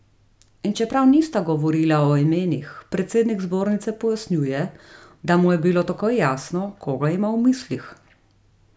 In čeprav nista govorila o imenih, predsednik zbornice pojasnjuje, da mu je bilo takoj jasno, koga ima v mislih.